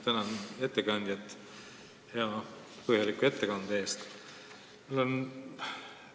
Tänan ettekandjat põhjaliku ettekande eest!